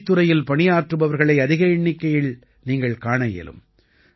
மொழித் துறையில் பணியாற்றுபவர்களை அதிக எண்ணிக்கையில் நீங்கள் காண இயலும்